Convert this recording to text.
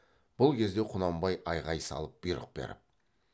бұл кезде құнанбай айғай салып бұйрық беріп